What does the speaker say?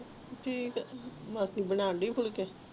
ਠੀਕ ਹੈ ਬਨੰਦਾਈ ਫੁਲਕੇ